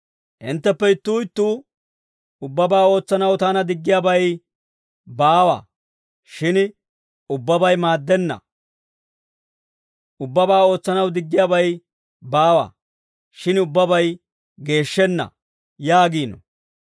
Hintteppe ittuu ittuu, «Ubbabaa ootsanaw taana diggiyaabay baawa»; shin ubbabay maaddenna. «Ubbabaa ootsanaw diggiyaabay baawa; shin ubbabay geeshshenna» yaagiino.